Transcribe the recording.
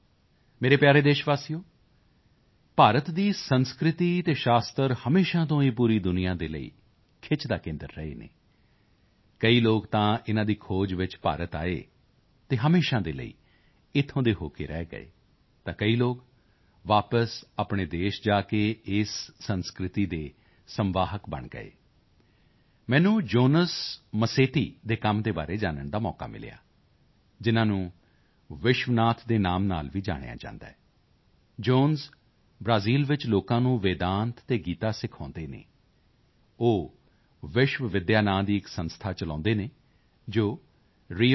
ਮੇਰੇ ਪਿਆਰੇ ਦੇਸ਼ਵਾਸੀਓ ਭਾਰਤ ਦੀ ਸੰਸਕ੍ਰਿਤੀ ਅਤੇ ਸ਼ਾਸਤਰ ਹਮੇਸ਼ਾ ਤੋਂ ਹੀ ਪੂਰੀ ਦੁਨੀਆ ਦੇ ਲਈ ਖਿੱਚ ਦਾ ਕੇਂਦਰ ਰਹੇ ਹਨ ਕਈ ਲੋਕ ਤਾਂ ਇਨ੍ਹਾਂ ਦੀ ਖੋਜ ਵਿੱਚ ਭਾਰਤ ਆਏ ਅਤੇ ਹਮੇਸ਼ਾ ਦੇ ਲਈ ਇੱਥੋਂ ਦੇ ਹੋ ਕੇ ਰਹਿ ਗਏ ਤਾਂ ਕਈ ਲੋਕ ਵਾਪਸ ਆਪਣੇ ਦੇਸ਼ ਜਾ ਕੇ ਇਸ ਸੰਸਕ੍ਰਿਤੀ ਦੇ ਸੰਵਾਹਕ ਬਣ ਗਏ ਮੈਨੂੰ ਜੋਨਸ ਮਾਸੇਟੀ ਦੇ ਕੰਮ ਦੇ ਬਾਰੇ ਜਾਨਣ ਦਾ ਮੌਕਾ ਮਿਲਿਆ ਜਿਨ੍ਹਾਂ ਨੂੰ ਵਿਸ਼ਵਨਾਥ ਦੇ ਨਾਂ ਨਾਲ ਵੀ ਜਾਣਿਆ ਜਾਂਦਾ ਹੈ ਜੋਨਸ ਬ੍ਰਾਜ਼ੀਲ ਵਿੱਚ ਲੋਕਾਂ ਨੂੰ ਵੇਦਾਂਤ ਤੇ ਗੀਤਾ ਸਿਖਾਉਂਦੇ ਹਨ ਉਹ ਵਿਸ਼ਵ ਵਿੱਦਿਆ ਨਾਂ ਦੀ ਇੱਕ ਸੰਸਥਾ ਚਲਾਉਂਦੇ ਹਨ ਜੋ ਰੀਓ ਡੀ